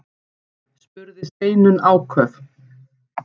spurði Steinunn áköf.